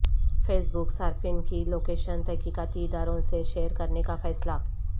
face بک صارفین کی location تحقیقاتی اداروں سے شیئرکرنے کا فیصلہ